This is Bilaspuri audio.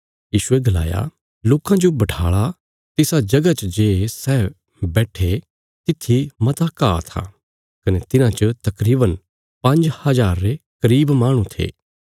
यीशुये गलाया लोकां जो बठाल़ा तिसा जगह च जे सै बैट्ठे तित्थी मता घा था कने तिन्हां च तकरीवन पांज्ज हजार रे करीब माहणु थे